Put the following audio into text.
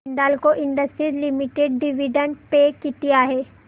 Hindalco industries limited dividend pay किती आहे